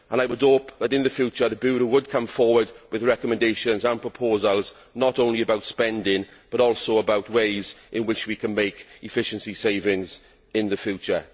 I hope that in the future, the Bureau will come forward with recommendations and proposals, not only about spending, but also about ways in which we can make efficiency savings in the future.